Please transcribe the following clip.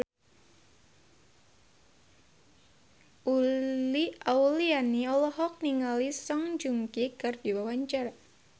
Uli Auliani olohok ningali Song Joong Ki keur diwawancara